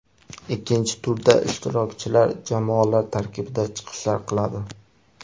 Ikkinchi turda ishtirokchilar jamoalar tarkibida chiqishlar qiladi.